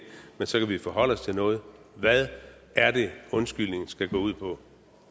men så kan vi forholde os til noget hvad er det undskyldningen skal gå ud på